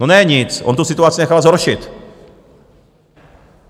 No ne nic, on tu situaci nechal zhoršit.